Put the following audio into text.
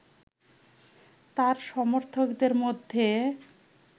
তার সমর্থকদের মধ্যে